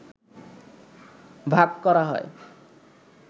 ভাগ করা হয়